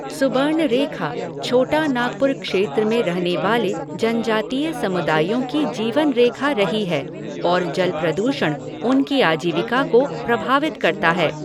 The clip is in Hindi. सुबर्णरेखा छोटानागपुर क्षेत्र में रहने वाले जनजातीय समुदायों की जीवन रेखा रही है और जल प्रदूषण उनकी आजीविका को प्रभावित करता है।